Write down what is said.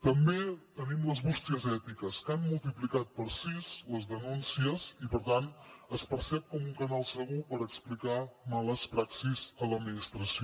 també tenim les bústies ètiques que han multiplicat per sis les denúncies i per tant es percep com un canal segur per explicar males praxis a l’administració